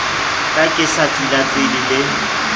ka ke sa tsilatsile le